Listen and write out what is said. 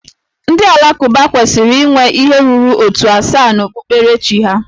Ndị Alakụba kwesịrị inwe ihe ruru ótù asaa na okpukperechi ha